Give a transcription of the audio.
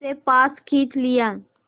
उसे पास खींच लिया